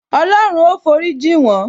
Olorun ó forí jin won